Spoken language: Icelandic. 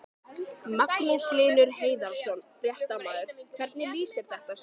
Magnús Hlynur Hreiðarsson, fréttamaður: Hvernig lýsir þetta sér?